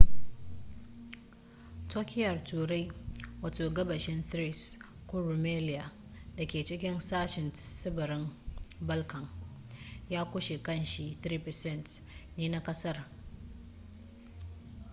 turkiyyar turai wato gabashin thrace ko rumelia da ke cikin sashen tsibirin balkan ya kunshi kashi 3% ne na ƙasar